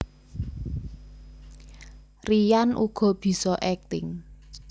Ryan uga bisa akting